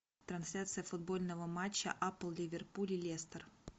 трансляция футбольного матча апл ливерпуль и лестер